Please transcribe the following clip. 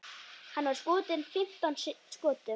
Hann var skotinn fimmtán skotum.